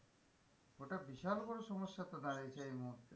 ওটা বিশাল বড়ো সমস্যাতে দাঁড়িয়েছে এই মুহূর্তে,